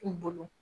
U bolo